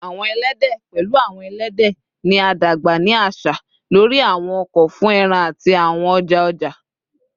Awọn ẹlẹdẹ, pẹlu awọn ẹlẹdẹ, ni a dagba ni aṣa lori awọn oko fun ẹran ati awọn ọja-ọja